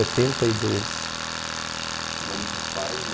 Setenta e dois. E o nome dos seus pais e